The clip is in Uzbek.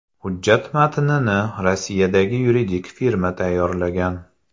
Hujjat matnini Rossiyadagi yuridik firma tayyorlagan.